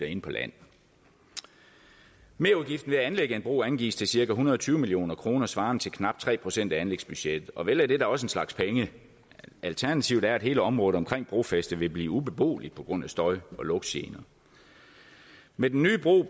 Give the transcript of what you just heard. inde på land merudgiften ved at anlægge en bro angives til cirka en hundrede og tyve million kr svarende til knap tre procent af anlægsbudgettet og vel er det da også en slags penge alternativet er at hele området omkring brofæstet vil blive ubeboeligt på grund af støj og lugtgener med den nye bro